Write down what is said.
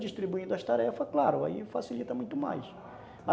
Distribuindo as tarefas, claro, aí facilita muito mais.